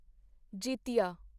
ਜਿਤਿਆ